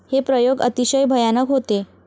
हे प्रयोग अतिशय भयानक होते.